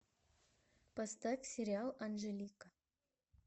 поставь сериал анжелика